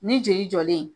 Ni joli jɔlen